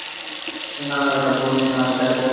நல்லா இருக்கேன் அப்பு நீ நல்லா இருக்கியா அப்பு